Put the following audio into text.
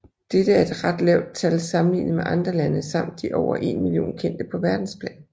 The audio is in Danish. Dette er et ret lavt tal sammenlignet med andre lande samt de over en million kendte på verdensplan